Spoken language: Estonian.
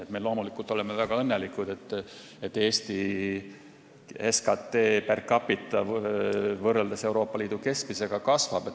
Me oleme loomulikult väga õnnelikud, et Eesti SKT per capita võrreldes Euroopa Liidu keskmisega kasvab.